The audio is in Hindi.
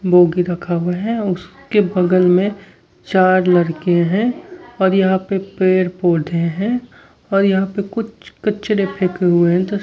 बोगी रखा हुआ है उसके बगल में चार लड़के हैं और यहां पे पेड़ पौधे हैं और यहां पे कुछ कचड़े फेके हुए हैं।